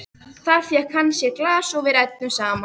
Þar fékk hann sér í glas og við ræddum saman.